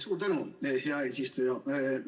Suur tänu, hea eesistuja!